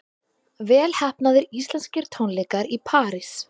Vel heppnaðir íslenskir tónleikar í París